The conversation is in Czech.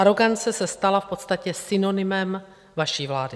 Arogance se stala v podstatě synonymem vaší vlády.